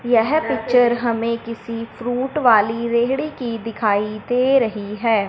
यह पिक्चर हमें किसी फ्रूट वाली रेहड़ी की दिखाई दे रही है।